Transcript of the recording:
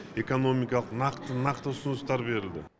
экономикалық нақты нақты ұсыныстар берілді